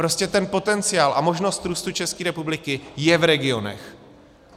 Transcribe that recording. Prostě ten potenciál a možnost růstu České republiky je v regionech.